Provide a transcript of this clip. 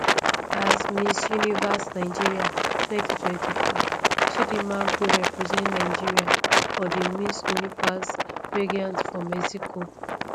as miss universe nigeria 2024 chidimma go represent nigeria for di miss universe pageant for mexico